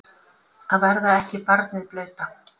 Að verða ekki barnið blauta